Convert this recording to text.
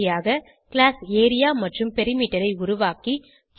பயிற்சியாக class area மற்றும் perimeter ஐ உருவாக்கி